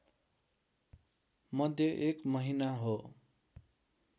मध्ये एक महिना हो